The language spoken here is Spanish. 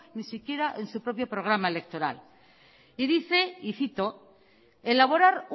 ni siquiera en su propio programa electoral y dice y cito elaborar